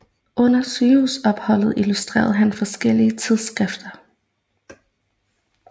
Under sygehusopholdet illustrerede han forskellige tidsskrifter